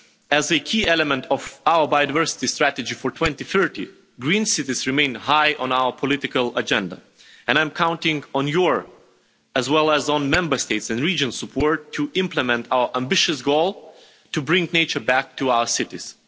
As a key element of our biodiversity strategy for 2030, green cities remain high on our political agenda, and I am counting on your, as well as on Member States' and regions', support to implement our ambitious goal to bring nature back to our cities.